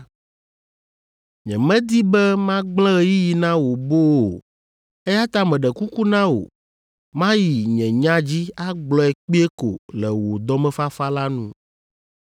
Nyemedi be magblẽ ɣeyiɣi na wò boo o, eya ta meɖe kuku na wò mayi nye nya dzi agblɔe kpuie ko le wò dɔmefafa la nu.